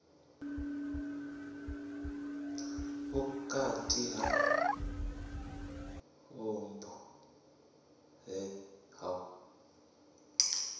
vhukati ha vhupo he ha